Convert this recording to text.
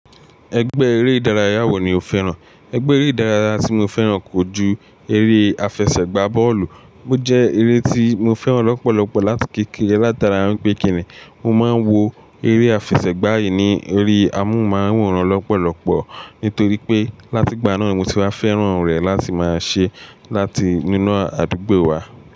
Ẹgbẹ́ eré ìdárayá wo ni o fẹ́ràn? Ẹgbẹ́ eré ìdárayá tí mo fẹ́ràn kò ju eré àfẹsẹ̀gbá bọ́ọ̀lù. Ó jẹ́ eré tí mo fẹ́ràn lọ́pọ̀lọpọ̀ láti kékeré látara pé kíni mo máa ń wo eré àfẹsẹ̀gbá yìí ni orí amóhùnmáwòrán lọ́pọ̀lọpọ̀. Nítorí pé láti gbà náà mo ti wá fẹ́ràn rẹ̀ láti máa ṣe láti nínú àdúgbò wa.